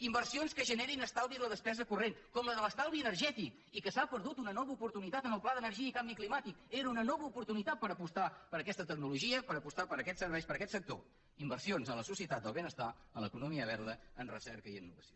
inversions que generin estalvi en la despesa corrent com la de l’estalvi energètic i que s’ha perdut una nova oportunitat en el pla d’energia i canvi climàtic era una nova oportunitat per apostar per aquesta tecnologia per apostar per aquests serveis i per aquest sector inversions en la societat del benestar en l’economia verda en recerca i innovació